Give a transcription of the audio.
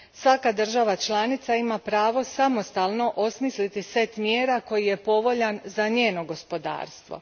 Svaka država članica ima pravo samostalno osmisliti set mjera koji je povoljan za njeno gospodarstvo.